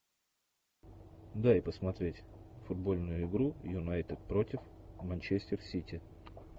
дай посмотреть футбольную игру юнайтед против манчестер сити